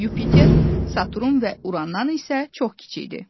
Yupiter, Saturn və Urandan isə çox kiçikdir.